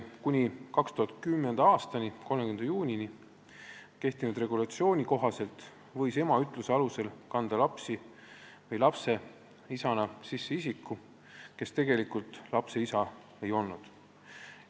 Kuni 2010. aasta 30. juunini kehtinud regulatsiooni kohaselt võis ema ütluse alusel kanda lapse isana sisse isiku, kes tegelikult lapse isa ei olnud.